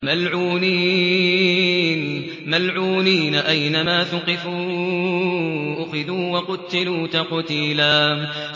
مَّلْعُونِينَ ۖ أَيْنَمَا ثُقِفُوا أُخِذُوا وَقُتِّلُوا تَقْتِيلًا